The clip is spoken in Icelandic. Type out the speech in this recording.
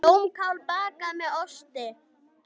Blómkál bakað með osti